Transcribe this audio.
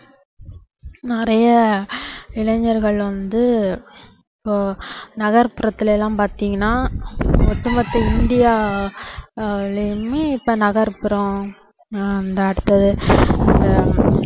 நிறைய இளைஞர்கள் வந்து இப்போ நகர்புறத்துல எல்லாம் பாத்தீங்கன்னா ஒட்டுமொத்த இந்தியாலயுமே இப்போ நகர்புறம் ஆஹ் அந்த அடுத்தது